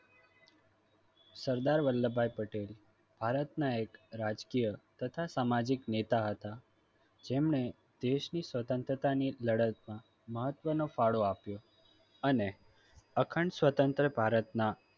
સરદાર વલ્લભભાઈ પટેલ ભારતના એક રાજકીય તથા સામાજિક નેતા હતા જેમને દેશની સ્વતંત્રતા ની લડતમાં મહત્વનો ફાળો આપ્યો અને અખંડ સ્વતંત્ર ભારતના